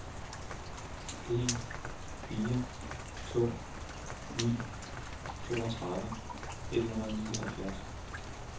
en fire to ni toogtredive et hundrede og nioghalvfjerds